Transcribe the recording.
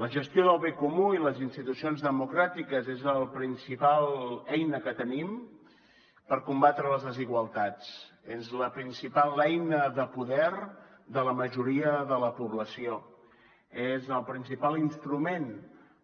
la gestió del bé comú i les institucions democràtiques són la principal eina que tenim per combatre les desigualtats són la principal eina de poder de la majoria de la població són el principal instrument